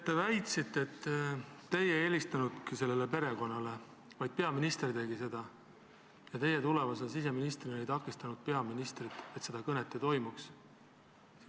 Te väitsite, et teie ei helistanudki sellele perekonnale, vaid seda tegi peaminister ja teie tulevase siseministrina ei takistanud peaministrit, et seda kõnet ei toimuks.